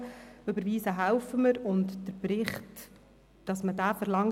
Wir helfen bei der Überweisung und dabei, dass man den Bericht verlangt.